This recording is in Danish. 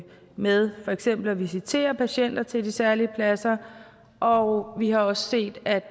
med for eksempel at visitere patienter til de særlige pladser og vi har også set at